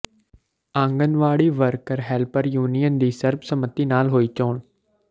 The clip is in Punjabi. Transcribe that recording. ਆਂਗਨਵਾੜੀ ਵਰਕਰ ਹੈਲਪਰ ਯੂਨੀਅਨ ਦੀ ਸਰਬਸੰਮਤੀ ਨਾਲ ਹੋਈ ਚੋਣ